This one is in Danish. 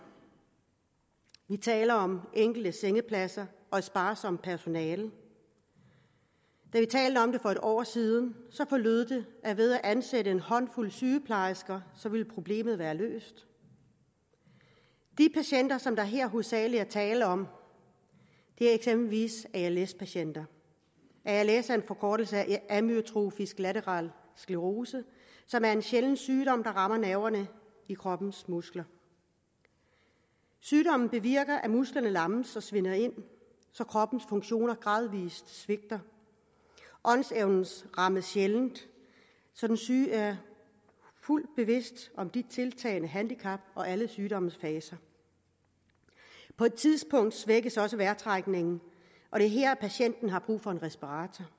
vi taler om enkelte sengepladser og et sparsomt personale da vi talte om det for et år siden forlød det at ved at ansætte en håndfuld sygeplejersker ville problemet være løst de patienter som der her hovedsagelig er tale om er eksempelvis als patienter als er en forkortelse af amyotrofisk lateral sklerose som er en sjælden sygdom der rammer nerverne i kroppens muskler sygdommen bevirker at musklerne lammes og svinder ind så kroppens funktioner gradvist svigter åndsevnen rammes sjældent så den syge er fuldt bevidst om sit tiltagende handicap og alle sygdommens faser på et tidspunkt svækkes også vejrtrækningen og det er her patienten har brug for en respirator